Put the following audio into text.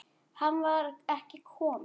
Hann var ekki kominn.